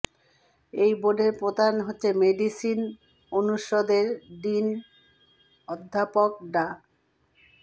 এই বোর্ডের প্রধান হচ্ছেন মেডিসিন অনুষদের ডিন অধ্যাপক ডা